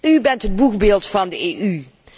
U bent het boegbeeld van de EU.